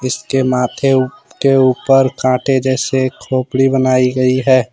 इसके माथे के ऊपर कांटे जैसे खोपड़ी बनाई गई है।